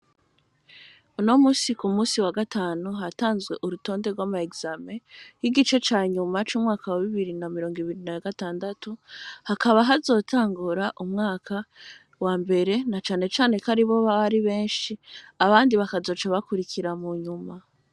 No musiku musi wa gatanu hatanzwe urutonde rw'amaekame y'igice ca nyuma c'umwaka wabibirina mirongo ibirina ya gatandatu hakaba hoazotangura umwaka wa mbere na canecane ko ari bo babari benshi abandi bakazoca bakurikira mu nyuma.